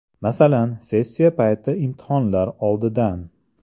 Masalan, sessiya payti imtihonlar oldidan.